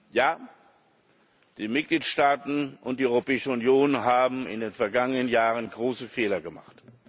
Ja, die Mitgliedstaaten und die Europäische Union haben in den vergangenen Jahren große Fehler gemacht.